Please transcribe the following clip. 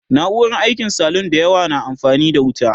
na'urar aikin salun da yawa na amfani da wuta